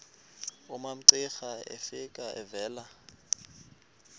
umamcira efika evela